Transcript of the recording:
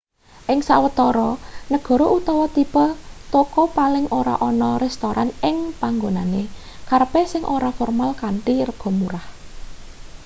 ing sawetara negara utawa tipe toko paling ora ana restoran ing panggonane kerepe sing ora formal kanthi rega murah